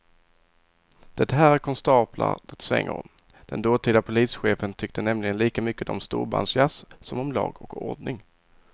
Det här är konstaplar det svänger om, den dåtida polischefen tyckte nämligen lika mycket om storbandsjazz som om lag och ordning.